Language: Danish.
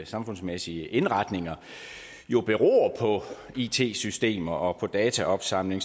samfundsmæssige indretninger beror på it systemer og på dataopsamling